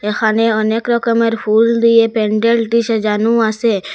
এখানে অনেক রকমের ফুল দিয়ে প্যান্ডেলটি সাজানো আসে।